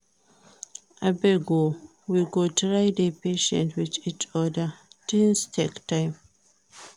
Abeg o we go try dey patient wit each oda, tins take time.